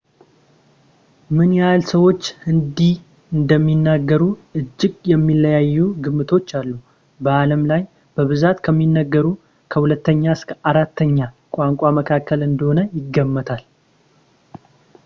ምን ያህል ሰዎች ሂንዲ እንደሚናገሩ እጅግ የሚለያዩ ግምቶች አሉ በዓለም ላይ በብዛት ከሚነገሩ ከሁለተኛ እስከ በአራተኛ ቋንቋ መካከል እንደሆነ ይገመታል